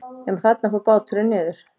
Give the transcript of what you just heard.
Nema þarna fór báturinn niður.